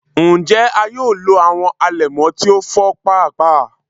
Njẹ a yoo lo awọn alẹmọ ti o fọ paapaa?